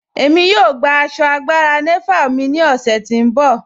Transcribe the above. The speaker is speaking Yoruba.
Ẹ̀mí yóò gbà àṣọ́ àgbàrá Nàvàl mí ni ọ̀ṣẹ̀ ti n bọ.